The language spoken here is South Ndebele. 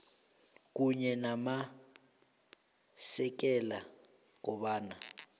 kunye namasekela kobana